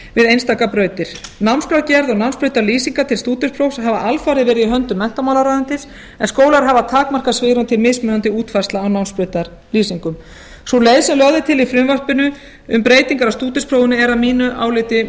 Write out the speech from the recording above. við einstaka brautir námskrárgerð og námsbrautalýsingar til stúdentsprófs hafa alfarið verið í höndum menntamálaráðuneytis en skólar hafa takmarkað svigrúm til mismunandi útfærslna á námsbrautarlýsingum sú leið sem lögð er til í frumvarpinu um breytingar á stúdentsprófinu er að mínu áliti